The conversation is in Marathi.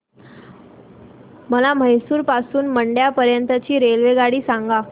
मला म्हैसूर पासून तर मंड्या पर्यंत ची रेल्वेगाडी सांगा